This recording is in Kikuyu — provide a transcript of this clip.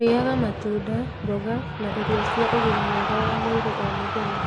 Rĩaga matunda, mboga, na irio cia ũgima mwega wa mwĩrĩ o mũthenya.